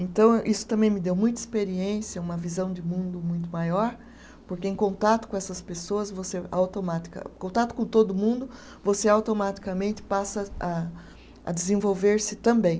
Então, isso também me deu muita experiência, uma visão de mundo muito maior, porque em contato com essas pessoas, você automatica, em contato com todo mundo, você automaticamente passa a a desenvolver-se também.